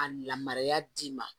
A lamara d'i ma